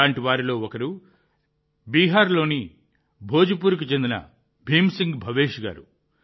అలాంటి వారిలో ఒకరు బీహార్లోని భోజ్పూర్కు చెందిన భీమ్ సింగ్ భవేష్ గారు